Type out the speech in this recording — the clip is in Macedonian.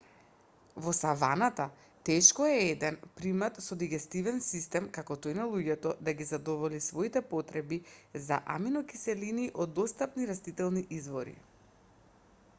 во саваната тешко е еден примат со дигестивен систем како тој на луѓето да ги задоволи своите потреби за аминокиселини од достапните растителни извори